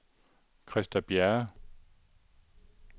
Christa Bjerre